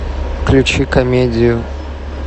включи комедию